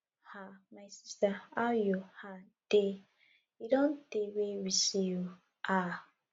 um my sister how you um dey e don tey wey we see oo um